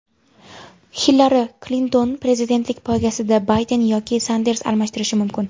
Hillari Klintonni prezidentlik poygasida Bayden yoki Sanders almashtirishi mumkin .